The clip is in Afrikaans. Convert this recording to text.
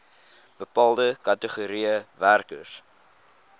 bepaalde kategorieë werkers